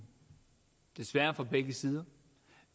desværre fra begge sider